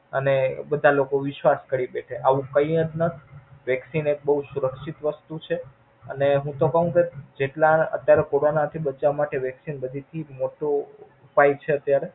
અને બધા લોકો વિશ્વાસ કરી લેય કે આવું કય જ નય. vaccine એક બોવ સુરક્ષિત વસ્તુ છે. અને હું તો કવ ક જેટલા અત્યારે Corona થી બચવા માટે Vaccine બધે થી મોટો ઉપાય છે અત્યારે.